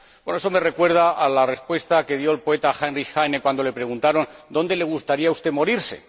Eso me recuerda la respuesta que dio el poeta Heinrich Heine cuando le preguntaron ¿Dónde le gustaría a usted morirse?.